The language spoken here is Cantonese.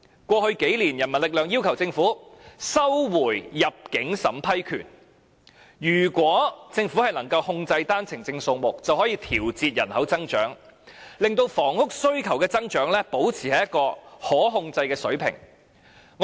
過去數年，人民力量要求政府收回入境審批權，如果政府能夠控制單程證數目，便可以調節人口增長，令房屋需求的增長維持在一個可控制的水平。